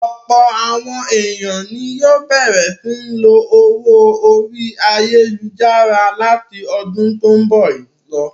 Ọ̀pọ̀ àwọn ènìyàn ni yóò bẹ̀rẹ̀ sí ní lo owó orí ayálujára láti ọdún tó ń bọ̀ lọ.